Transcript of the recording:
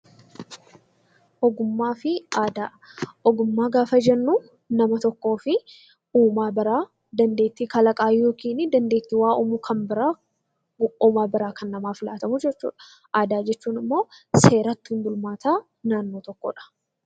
Ogummaa gaafa jennu nama tokkoof uumaa biraa dandeettii kalaqaa yookiin dandeettii waa uumma kan biraa uumaa biraa kan namaaf laatamuu jechuudha. Aadaa jechuun ammoo seera ittiin bulmaataa naannoo tokkoodha.